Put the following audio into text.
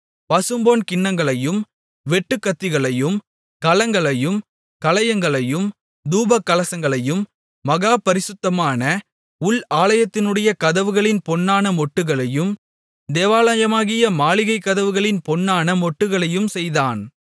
பசும்பொன் கிண்ணங்களையும் வெட்டுக்கத்திகளையும் கலங்களையும் கலயங்களையும் தூபகலசங்களையும் மகாபரிசுத்தமான உள் ஆலயத்தினுடைய கதவுகளின் பொன்னான மொட்டுகளையும் தேவாலயமாகிய மாளிகைக் கதவுகளின் பொன்னான மொட்டுகளையும் செய்தான்